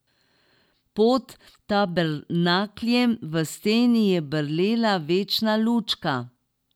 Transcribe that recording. Pod tabernakljem v steni je brlela večna lučka.